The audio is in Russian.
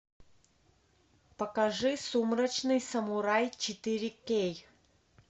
покажи сумрачный самурай четыре кей